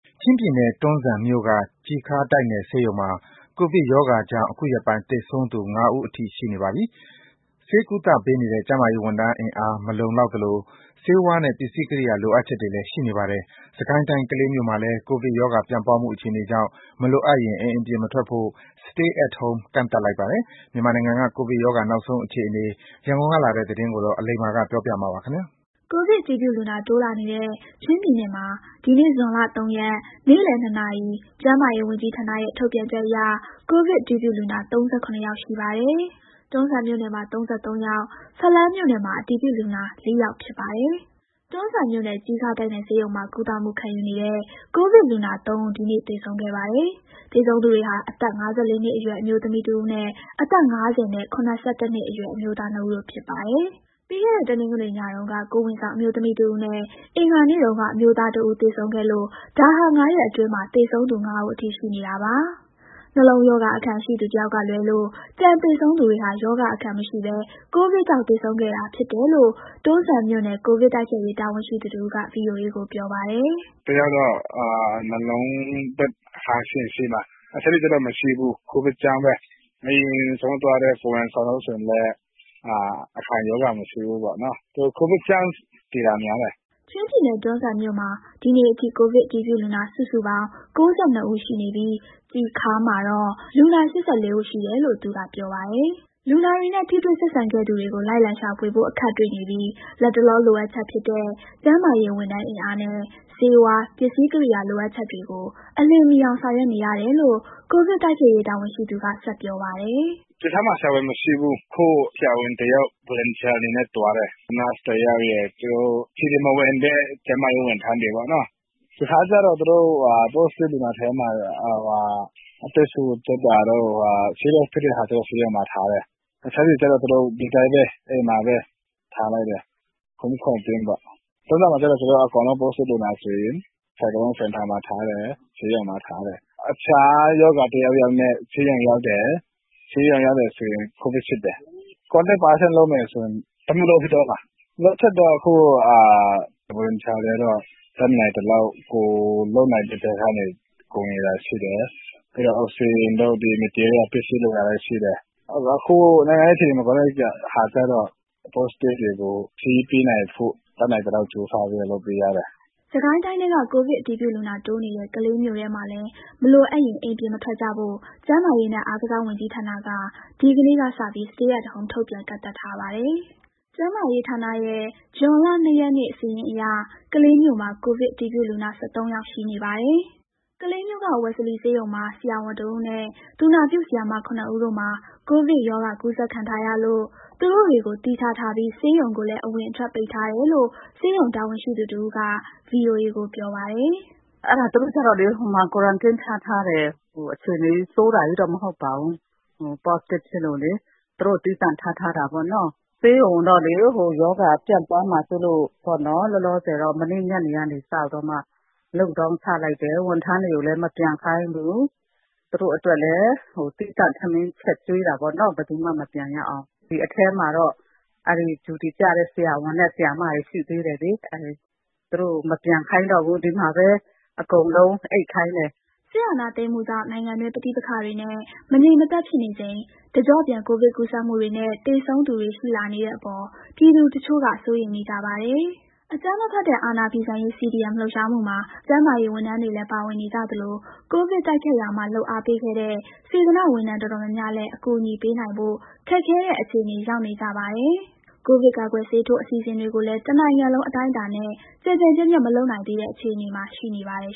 ချင်းပြည်နယ်၊ တွန်းဇံမြို့က ကျီခါးတိုက်နယ်ဆေးရုံမှာ ကိုဗစ်ကပ်ရောဂါကြောင့် အခုရက်ပိုင်း သေဆုံးသူ ၅ ဦးအထိ ရှိနေပါပြီ။ ဆေးကုသပေးနေတဲ့ ကျန်းမာရေးဝန်ထမ်းအင်အား မလုံလောက်သလို ဆေးဝါးနဲ့ ပစ္စည်းကိရိယာလိုအပ်ချက်တွေလည်း ရှိနေပါတယ်။ စစ်ကိုင်းတိုင်း၊ ကလေးမြို့မှာလည်း ကိုဗစ်ကပ်ရောဂါ ပြန့်ပွားမှုအခြေအနေကြောင့် မလိုအပ်ရင် အိမ်ပြင်မထွက်ဖို့ (Stay at Home) ကန့်သတ်လိုက်ပါတယ်။ မြန်မာနိုင်ငံက ကိုဗစ် ကပ်ရောဂါနောက်ဆုံးအခြေအနေ ရန်ကုန်ကလာတဲ့ သတင်းကို အလိမ္မာကပြောပြပါမယ်။ ကိုဗစ်အတည်ပြုလူနာ တိုးလာနေတဲ့ ချင်းပြည်နယ်မှာ ဒီနေ့ ဇွန်လ ၃ ရက် နေ့လယ် ၂ နာရီ ကျန်းမာရေးဝန်ကြီးဌာနရဲ့ ထုတ်ပြန်ချက်အရ ကိုဗစ် အတည်ပြုလူနာ ၃၇ ယောက်ရှိပါတယ်။ တွန်းဇံမြို့နယ်မှာ ၃၃ ယောက်၊ ဖလမ်းမြို့နယ်မှာ အတည်ပြုလူနာ ၄ ယောက် ဖြစ်ပါတယ်။ တွန်းဇံမြို့ နယ်၊ ကျီခါးတိုက်နယ်ဆေးရုံမှာ ကုသမှုခံယူနေတဲ့ ကိုဗစ်လူနာ ၃ ဦး ဒီနေ့ သေဆုံးခဲ့ပါတယ်။ သေဆုံးသူတွေဟာ အသက် ၅၄ နှစ်အရွယ် အမျိုးသမီးတဦးနဲ့ အသက် ၅၀ နဲ့ ၇၁ နှစ်အရွယ် အမျိုးသား နှစ်ဦးတို့ ဖြစ်ပါတယ်။ ပြီးခဲ့တဲ့ တနင်္ဂနွေညတုန်းက ကိုယ်ဝန်ဆောင်အမျိုးသမီးတဦးနဲ့ အင်္ဂါနေ့တုန်းက အမျိုးသားတဦး သေဆုံးခဲ့လို့ ဒါဟာ ၅ ရက်အတွင်းမှာ သေဆုံးသူ ၅ ဦးအထိ ရှိနေတာပါ။ နှလုံးရောဂါ အခံရှိသူ တယောက်ကလွဲလို့ ကျန်သေဆုံးသူတွေဟာ ရောဂါအခံမရှိဘဲ ကိုဗစ်ကြောင့် သေဆုံးကြတာဖြစ်တယ်လို့ တွန်းဇံမြို့နယ် ကိုဗစ်တိုက်ဖျက်ရေး တာဝန်ရှိသူတဦးက ဗွီအိုအေကို ပြောပါတယ်။ “တယောက်ကတော့ နှလုံးရောဂါအခံ ရှိတယ်။ တခြားသူတွေ ကျတော့မရှိဘူး။ ကိုဗစ်ကြောင့်ပဲ။ အရင်ဆုံးသွားတဲ့ ကိုယ်ဝန်ဆောင်သည်ဆိုလည်း အခံရောဂါ မရှိဘူး။ ကိုဗစ်ကြောင့် သေတာများတယ်။” ချင်းပြည်နယ်၊ တွန်းဇံမြို့မှာ ဒီနေ့အထိ ကိုဗစ်အတည်ပြုလူနာ စုစုပေါင်း ၉၂ ဦး ရှိနေပြီး ကျီခါးမှာတော့ လူနာ ၈၄ ဦး ရှိတယ်လို့လည်း သူကပြောပါတယ်။ လူနာတွေနဲ့ ထိတွေ့ဆက်စပ်ခဲ့သူတွေကို လိုက်လံရှာဖွေဖို့ အခက်တွေ့နေပြီး လတ်တလော လိုအပ်ချက်ဖြစ်တဲ့ ကျန်းမာရေးဝန်ထမ်း အင်အားနဲ့ ဆေးဝါး၊ ပစ္စည်းကိရိယာ လိုအပ်ချက်တွေကို အလျင်မီအောင် ဆောင်ရွက်နေရတယ်လို့ ကိုဗစ်တိုက်ဖျက်ရေး တာဝန်ရှိသူက ဆက်ပြောပါတယ်။ “ကျီခါးမှာ ဆရာဝန်မရှိဘူး။ အခု ဆရာဝန်တယောက် လုပ်အားပေးအနေနဲ့ သွားတယ်။ သူနာပြုတယောက်ရယ်၊ CDM မဝင်တဲ့ ကျန်းမာရေးဝန်ထမ်းတွေနဲ့ပေါ့။ ကျီခါးကျတော့ Positive လူနာထဲမှာ အသက်ရှုကျပ်တာတို့ ဘာတို့ဆို ဆေးရုံမှာ ထားတယ်။ တခြားလူနာတွေကျတော့ ဒီတိုင်း အိမ်မှာပဲ Home Quarantine ပေါ့။ တွန်းဇံမှာကျတော့ Positive လူနာအကုန်လုံးကို Quarantine Center မှာထားတယ်၊ ဆေးရုံမှာ ထားတယ်။ တခြားရောဂါတခုခုနဲ့ ဆေးရုံရောက်တယ်ဆို ကိုဗစ်စစ်တယ်။ Contact Person လုပ်မယ်ဆိုရင် တမြို့လုံးဖြစ်သွားမှာ။ လိုအပ်ချက်ကတော့ အခု Volunteer တွေကတော့ တတ်နိုင်သလောက် လုပ်နိုင်တဲ့ဘက်ကနေ ကူနေတာရှိတယ်။ အောက်စီဂျင်တို့ တခြား material ပစ္စည်းလိုတာရှိတယ်။ အခုနိုင်ငံရေးအခြေအနေ မကောင်းတဲ့အခါကျတော့ Positive တွေကို ဆေးပေးနိုင်ဖို့ တတ်နိုင်သလောက် ကြိုးစားပြီးတော့ လုပ်ပေးရတယ်။” စစ်ကိုင်းတိုင်းထဲက ကိုဗစ်အတည်ပြုလူနာ တိုးနေတဲ့ ကလေးမြို့နယ်ထဲမှာလည်း မလိုအပ်ရင် အိမ်ပြင်မထွက်ကြဖို့ ကျန်းမာရေးနဲ့ အားကစားဝန်ကြီးဌာနက ဒီနေ့ကစပြီး Stay at Home ထုတ်ပြန် ကန့်သတ်ထားပါတယ်။ ကျန်းမာရေးဌာနရဲ့ ဇွန်လ ၂ ရက်နေ့ စာရင်းအရ ကလေးမြို့မှာ ကိုဗစ် အတည်ပြုလူနာသစ် ၁၃ ယောက် ရှိနေပါတယ်။ ကလေးမြို့က ဝယ်စလီဆေးရုံမှာ ဆရာဝန် ၁ ဦးနဲ့ သူနာပြုဆရာမ ၇ ဦးတို့မှာ ကိုဗစ်ရောဂါကူးစက်ခံထားရလို့ သူတို့တွေကို သီးခြားထားပြီး ဆေးရုံကိုလည်း အဝင်အထွက် ပိတ်ထားတယ်လို့ ဆေးရုံတာဝန်ရှိသူတဦးက ဗွီအိုအေကို ပြောပါတယ်။ “သူတို့ကို Quarantine ထားထားတယ်။ အခြေအနေ ဆိုးတာကြီးတော့ မဟုတ်ပါဘူး။ Positive ဖြစ်လို့ သူတို့ကို သီးသန့်ထားထားတာပေါ့နော်။ ဆေးရုံကိုတော့ ရောဂါပြန့်ပွားမှာစိုးလို့ လောလောဆယ်တော့ မနေ့ညနေကစပြီးတော့ Lockdown ချလိုက်တယ်။ ဝန်ထမ်းတွေကိုလည်း မပြန်ခိုင်းဘူး။ သူတို့အတွက်လည်း သီးသန့် ထမင်းချက်ကျွေးတာပေါ့နော်၊ ဘယ်သူမှ မပြန်ရအောင်။ ဒီထဲမှာတော့ Duty ကျတဲ့ ဆရာဝန်၊ ဆရာမတွေ ရှိသေးတယ်လေ။ သူတို့ကိုမပြန်ခိုင်းတော့ဘူး။ ဒီမှာပဲ အကုန်အိပ်ခိုင်းတယ်။” စစ်အာဏာသိမ်းမှုကြောင့် နိုင်ငံတွင်း ပဋိပက္ခတွေနဲ့ မတည်မငြိမ်ဖြစ်နေချိန် တကျော့ပြန်ကိုဗစ်ကူးစက်မှုတွေနဲ့ သေဆုံးသူတွေ ရှိလာနေတဲ့အပေါ် ပြည်သူတချို့က စိုးရိမ်နေကြပါတယ်။ အကြမ်းမဖက်တဲ့ အာဏာဖီဆန်ရေး CDM လှုပ်ရှားမှုမှာ ကျန်းမာရေးဝန်ထမ်းတွေလည်း ပါဝင်နေကြသလို ကိုဗစ်တိုက်ဖျက်ရာမှာ လုပ်အားပေးခဲ့တဲ့ စေတနာ့ဝန်ထမ်းတော်တော်များများလည်း အကူအညီပေးနိုင်ဖို့ ခက်ခဲတဲ့အခြေအနေ ရောက်နေကြပါတယ်။ ကိုဗစ်ကာကွယ်ဆေးထိုး အစီအစဉ်တွေကိုလည်း တနိုင်ငံလုံး အတိုင်းအတာနဲ့ ကျယ်ကျယ်ပြန့်ပြန့် မလုပ်နိုင်သေးတဲ့ အခြေအနေမှာ ရှိနေပါတယ်